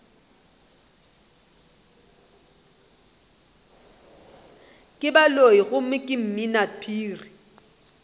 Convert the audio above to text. ke baloiloi gomme ke mminaphiri